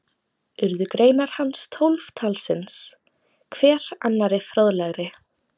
Urðu greinar hans tólf talsins, hver annarri fróðlegri.